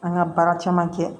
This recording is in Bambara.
An ka baara caman kɛ